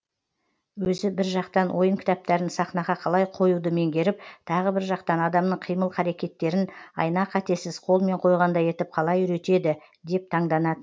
өзі бір жақтан ойын кітаптарын сахнаға қалай қоюды меңгеріп тағы бір жақтан адамның қимыл қаракеттерін айна қатесіз қолмен қойғандай етіп қалай үйретеді деп таңданат